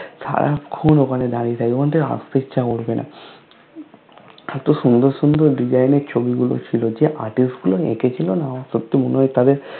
সারাক্ষন ঐখানে দাড়িয়ে থাকি মানে আস্তে ইচ্ছা করবেন এতো সুন্দর সুন্দর Design এর ছবি গুলো ছিলো যেই Artist গুলো নেট এ ছিলো না সত্যি মনে হয় তাদের